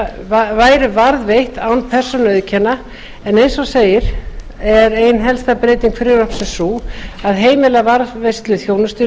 að þjónustusýni væru varðveitt án persónuauðkenna en eins og áður segir er ein helsta breyting frumvarpsins sú að heimila varðveislu